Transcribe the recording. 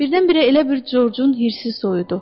Birdən-birə elə bil Corcun hirsi soyudu.